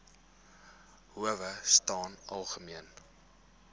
howe staan algemeen